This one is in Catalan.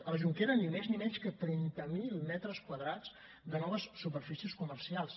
a la jonquera ni més ni menys que trenta mil metres quadrats de noves superfícies comercials